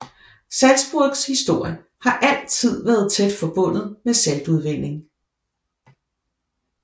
Salzburgs historie har altid været tæt forbundet med saltudvinding